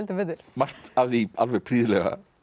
margt af því alveg prýðilega